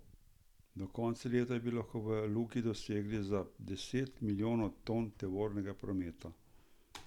Do konca leta bi lahko v luki dosegli za deset milijonov ton tovornega prometa.